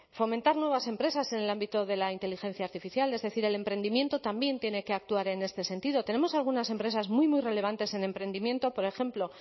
fomentar nuevas empresas en el ámbito de la inteligencia artificial es decir el emprendimiento también tiene que actuar en este sentido tenemos algunas empresas muy muy relevantes en emprendimiento por ejemplo